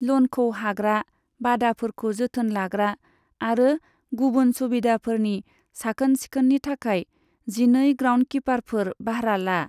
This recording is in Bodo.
ल'नखौ हाग्रा, बादाफोरखौ जोथोन लाग्रा आरो गुबुन सुबिदाफोरनि साखोन सिखोननि थाखाय जिनै ग्राउन्डकिपारफोर बाह्रा ला।